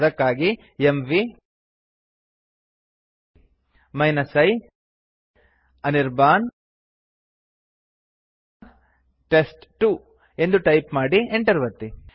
ಅದಕ್ಕಾಗಿ mv i Anirban test two ಎಂದು type ಮಾಡಿ enter ಒತ್ತಿ